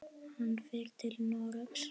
Hann fer til Noregs.